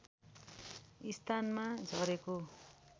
स्थानमा झरेको